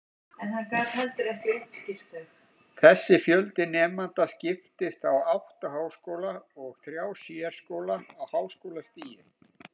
Þessi fjöldi nemenda skiptist á átta háskóla og þrjá sérskóla á háskólastigi.